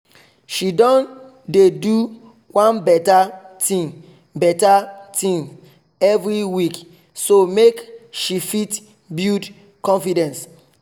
she don dey do one better thing better thing every week so make she fit build confidence